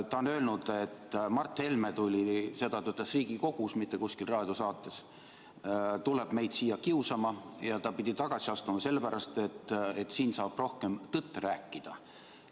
Ta on öelnud, et Mart Helme – seda ta ütles Riigikogus, mitte kuskil raadiosaates – tuleb meid siia kiusama ja et ta astus tagasi sellepärast, et siin saab rohkem tõtt rääkida.